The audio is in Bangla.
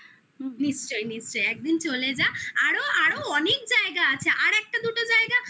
নিশ্চই নিশ্চই একদিন চলে যা আরো আরো অনেক জায়গা আছে আর একটা দুটো জায়গা